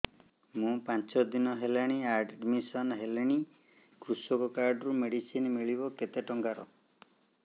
ମୁ ପାଞ୍ଚ ଦିନ ହେଲାଣି ଆଡ୍ମିଶନ ହେଲିଣି କୃଷକ କାର୍ଡ ରୁ ମେଡିସିନ ମିଳିବ କେତେ ଟଙ୍କାର